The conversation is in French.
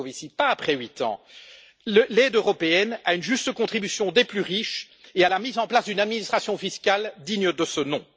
Moscovici, pas après huit ans, l'aide européenne à une juste contribution des plus riches et à la mise en place d'une administration fiscale digne de ce nom.